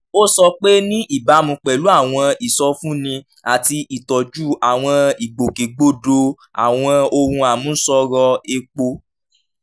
ó sọ pé ní ìbámu pẹ̀lú àwọn ìsọfúnni àti ìtọ́jú àwọn ìgbòkègbodò àwọn ohun àmúṣọrò epo